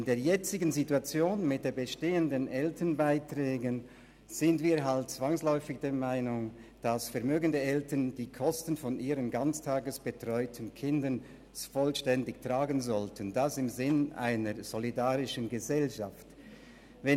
In der jetzigen Situation mit den bestehenden Elternbeiträgen sind wir halt zwangsläufig der Meinung, dass vermögende Eltern die Kosten ihrer ganztagesbetreuten Kinder im Sinne einer solidarischen Gesellschaft vollständig tragen sollten.